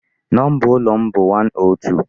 Number ụlọ m bụ 102.